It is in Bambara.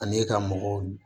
Ani ka mɔgɔw